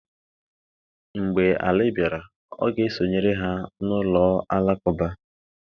Mgbe Ali bịara, ọ ga-esonyere ha na ụlọ alakụba.